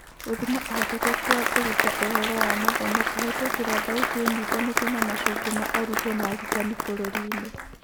Gũthima ũhotekeku wa kũruta ũhũro wa mathomo kũhetũkĩra thauti ĩnyitanĩte na macokĩo ma arutwo na arutani bũrũri-inĩ.